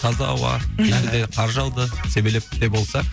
таза ауа мхм және де қар жауды себелеп те болса